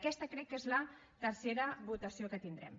aquesta crec que és la tercera votació que tindrem